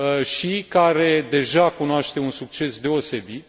și care deja cunoaște un succes deosebit.